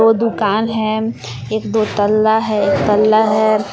वो दुकान है एक दो तल्ला है एक तल्ला है।